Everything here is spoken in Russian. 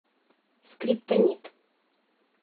скриптонит